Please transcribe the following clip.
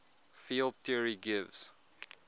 field theory gives